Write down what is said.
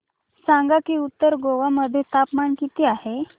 सांगा की उत्तर गोवा मध्ये तापमान किती आहे